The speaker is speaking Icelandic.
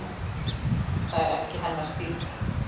Það er ekki hennar stíll.